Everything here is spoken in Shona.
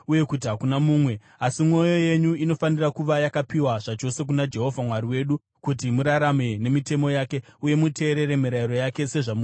Asi mwoyo yenyu inofanira kuva yakapiwa zvachose kuna Jehovha Mwari wedu, kuti murarame nemitemo yake uye muteerere mirayiro yake sezvamuri kuita iye zvino.”